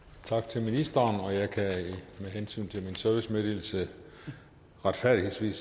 tak til ministeren og jeg kan med hensyn til min servicemeddelelse retfærdigvis sige